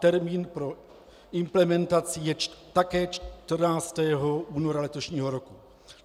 Termín pro implementaci je také 14. února letošního roku.